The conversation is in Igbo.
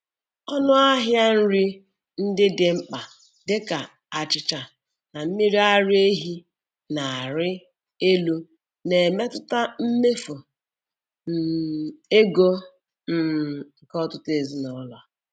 Ọnụ ahịa nri ndị dị mkpa dịka achịcha na mmiri ara ehi na-arị elu na-emetụta mmefu um ego um nke ọtụtụ ezinụlọ.